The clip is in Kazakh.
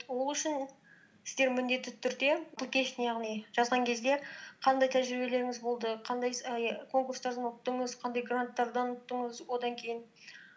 ол үшін сіздер міндетті түрде яғни жазған кезде қандай тәжірибелеріңіз болды қандай конкурстардан ұттыңыз қандай гранттардан ұттыңыз одан кейін